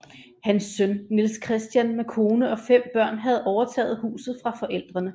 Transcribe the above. Hans søn Niels Christian med kone og fem børn havde overtaget huset fra forældrene